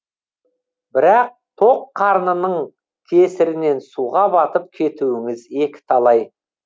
бірақ тоқ қарнының кесірінен суға батып кетуіңіз екі талай